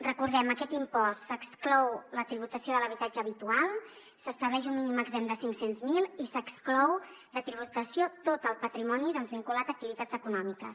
recordem aquest impost s’exclou la tributació de l’habitatge habitual s’estableix un mínim exempt de cinc cents miler i s’exclou de tributació tot el patrimoni doncs vinculat a activitats econòmiques